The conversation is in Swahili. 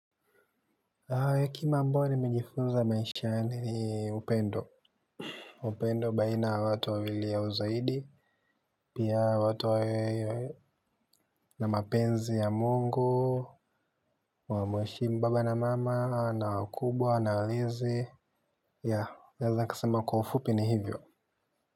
Hekima ambayo nimejifunza maishani ni upendo. Upendo baina ya watu wawili au uzaidi pia watu wawe na mapenzi ya mungu wamheshimu baba na mama, na wakubwa, na walezi Ya, naeza nikasema kwa ufupi ni hivyo.